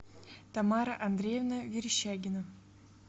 тамара андреевна верещагина